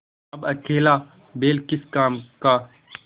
अब अकेला बैल किस काम का